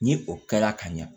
Ni o kɛra ka ɲa